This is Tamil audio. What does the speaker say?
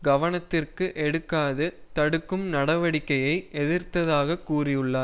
கவனத்திற்கு எடுக்காது தடுக்கும் நடவடிக்கையை எதிர்த்ததாக கூறியுள்ளார்